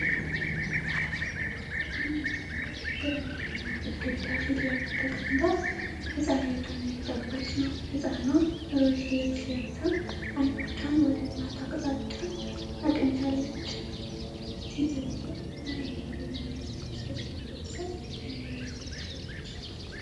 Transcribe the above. አንዲት እናት ግራጫማ ግድግዳ ፊት ለፊት ተቀምጣ ህጻን ልጇን እያጠባች ነው። ህጻኗ ሮዝ ልብስ ለብሳ ዓይኖቿን ወደ እናቷ አቅጣጫ አቅንታለች። ሴትየዋ አረንጓዴ የሚመስል ሹራብ ለብሳ አምባር አድርጋለች።